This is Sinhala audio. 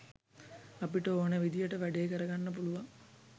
අපිට ඕනෙ විදියට වැඩේ කරගන්න පුළුවන්.